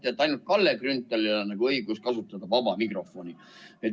Arvate, et ainult Kalle Grünthalil on õigus kasutada vaba mikrofoni.